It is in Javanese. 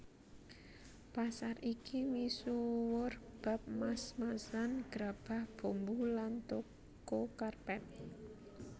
Pasar iki misuwur bab mas masan grabah bumbu lan toko karpet